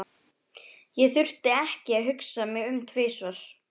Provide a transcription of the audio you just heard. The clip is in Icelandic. Ég þurfti ekki að hugsa mig um tvisvar.